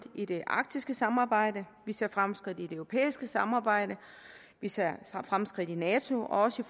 i det arktiske samarbejde vi ser fremskridt i det europæiske samarbejde vi ser fremskridt i nato også